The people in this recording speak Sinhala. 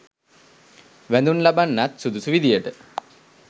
වැදුම් ලබන්නත් සුදුසු විදියට